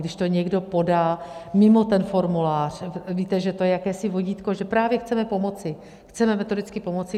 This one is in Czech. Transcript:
Když to někdo podá mimo ten formulář - víte, že to je jakési vodítko, že právě chceme pomoci, chceme metodicky pomoci.